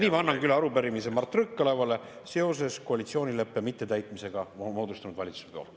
Nii ma annangi üle arupärimise Mart Võrklaevale seoses koalitsioonileppe mittetäitmisega moodustunud valitsuse poolt.